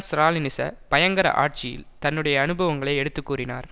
ஸ்ராலினிச பயங்கர ஆட்சி தன்னுடைய அனுபவங்களை எடுத்து கூறினார்